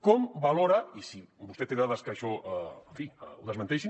com valora i si vostè té dades que això en fi ho desmenteixin